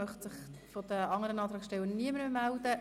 Möchte sich von den anderen Antragsstellern niemand mehr melden?